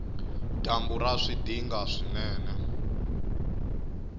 dyambu ra swidinga swinene